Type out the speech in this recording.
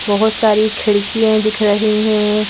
बहुत सारी खिड़कियां दिख रही हैं।